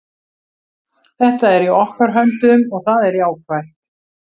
Þetta er í okkar höndum og það er jákvætt.